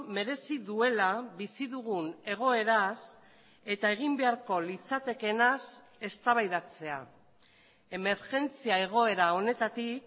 merezi duela bizi dugun egoeraz eta egin beharko litzatekeenaz eztabaidatzea emergentzia egoera honetatik